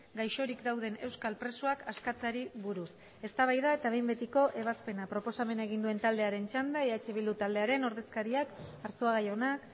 gaixorik dauden euskal presoak askatzeari buruz eztabaida eta behin betiko ebazpena proposamena egin duen taldearen txanda eh bildu taldearen ordezkariak arzuaga jauna